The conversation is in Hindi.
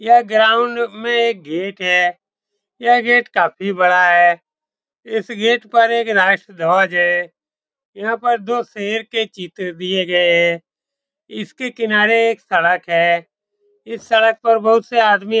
यह ग्राउंड में एक गेट है यह गेट काफी बड़ा है इस गेट पर एक राष्ट्र ध्वज है यहाँ पर दो शेर के चित्र दिए गये हैं इसके किनारे एक सड़क है इस सड़क पर बहुत से आदमी --